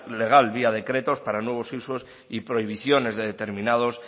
legal vía decretos para nuevos usos y prohibiciones de determinados